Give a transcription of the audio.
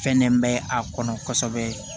Fɛnnen bɛ a kɔnɔ kosɛbɛ